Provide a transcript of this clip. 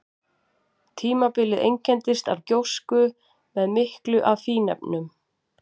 Tímabilið einkenndist af gjósku með miklu af fínefnum.